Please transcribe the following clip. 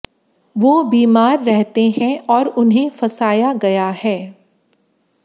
वो बीमार रहते हैं और उन्हें फंसाया गया है